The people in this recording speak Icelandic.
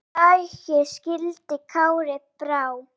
Við lagi skildi Kári brá.